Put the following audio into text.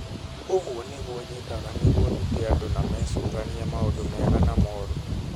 ũguo nĩguo njĩkaga nĩguo ndute andũ na mecũranie maũndu mega na moru.